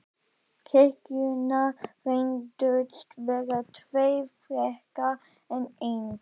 Kirkjurnar reyndust vera tvær frekar en ein.